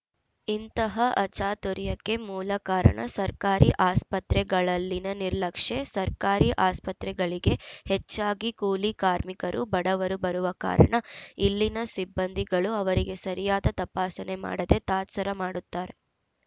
ಇಂತಹ ಅಚಾತುರ್ಯಕ್ಕೆ ಮೂಲ ಕಾರಣ ಸರ್ಕಾರಿ ಆಸ್ಪತ್ರೆಗಳಲ್ಲಿನ ನಿರ್ಲಕ್ಷ್ಯ ಸರ್ಕಾರಿ ಆಸ್ಪತ್ರೆಗಳಿಗೆ ಹೆಚ್ಚಾಗಿ ಕೂಲಿ ಕಾರ್ಮಿಕರು ಬಡವರು ಬರುವ ಕಾರಣ ಇಲ್ಲಿನ ಸಿಬ್ಬಂದಿಗಳು ಅವರಿಗೆ ಸರಿಯಾದ ತಪಾಸಣೆ ಮಾಡದೆ ತಾತ್ಸರ ಮಾಡುತ್ತಾರೆ